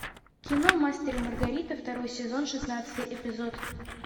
кино мастер и маргарита второй сезон шестнадцатый эпизод